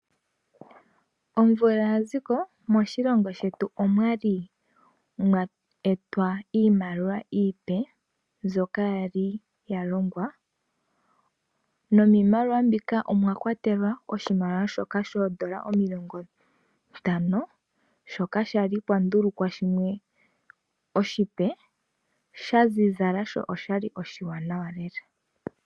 Omvula ya ziko, moshilongo shetu omwali mwa etwa iimaliwa iipe mbyoka fa li ya longwa, nomiimaliwa mbika, omwa kwatelwa oshimaliwa shoka shoondola omilongo ntano, shoka sha li pwa ndulukwa shimwe oshipe sha zizala sho osha li oshi wanawa lela.